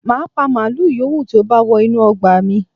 Màá pa màlúù yìówù tí ó bá wọ inú ọgbà mi